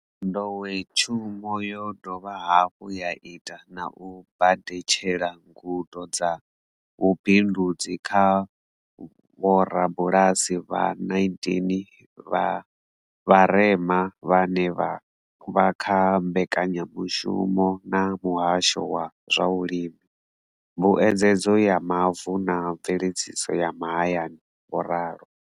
Nḓowetshumo yo dovha hafhu ya ita na u badetshela ngudo dza vhubindudzi kha vhorabulasi vha 19 vha vharema vhane vha vha kha mbekanyamushumo na muhasho wa zwa vhulimi, mbuedzedzo ya mavu na mveledziso ya mahayani, vho ralo.